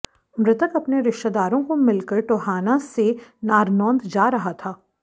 मृतक अपने रिश्तेदारों को मिलकर टोहाना से नारनौंद जा रहा था